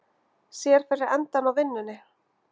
Sér fyrir endann á vinnunni